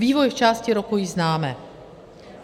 Vývoj v části roku již známe.